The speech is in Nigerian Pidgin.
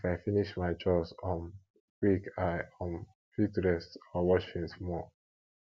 if i finish my chores um quick i um fit rest or watch film small